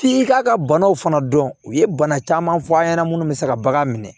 F'i k'a ka banaw fana dɔn u ye bana caman fɔ an ɲɛna minnu bɛ se ka bagan minɛ